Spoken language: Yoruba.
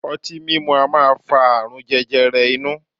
Ọtí mimu a maa fa aarun jẹjẹrẹ inu